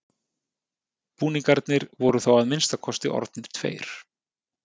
Búningarnir voru þá að minnsta kosti orðnir tveir.